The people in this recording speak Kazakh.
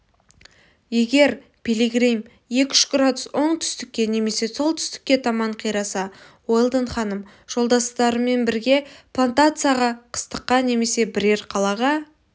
егер пилигрим екі-үш градус оңтүстікке немесе солтүстікке таман қираса уэлдон ханым жолдастарымен бірге плантацияға қыстаққа немесе бірер қалаға